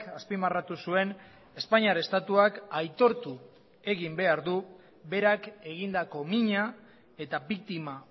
azpimarratu zuen espainiar estatuak aitortu egin behar du berak egindako mina eta biktima